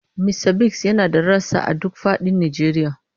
Mista Biggs yana da rassa a duk fadin Najeriya.